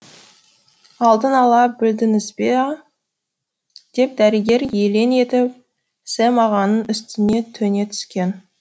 алдын ала білдіңіз бе а деп дәрігер елең етіп сэм ағаның үстіне төне түскен